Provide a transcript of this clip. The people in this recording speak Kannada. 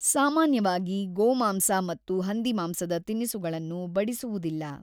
ಸಾಮಾನ್ಯವಾಗಿ, ಗೋಮಾಂಸ ಮತ್ತು ಹಂದಿಮಾಂಸದ ತಿನಿಸುಗಳನ್ನು ಬಡಿಸುವುದಿಲ್ಲ.